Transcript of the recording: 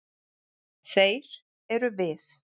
Þeir eru við.